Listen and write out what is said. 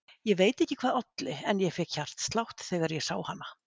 Ég veit ekki hvað olli en ég fékk hjartslátt þegar ég sá hana.